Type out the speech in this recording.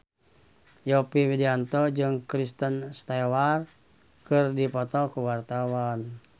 Yovie Widianto jeung Kristen Stewart keur dipoto ku wartawan